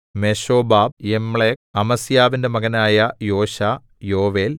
Meshobab Jamlech അമസ്യാവിന്റെ മകനായ Joshah യോവേൽ